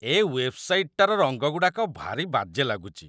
ଏ ୱେବ୍‌ସାଇଟ୍‌ଟାର ରଙ୍ଗଗୁଡ଼ାକ ଭାରି ବାଜେ ଲାଗୁଚି ।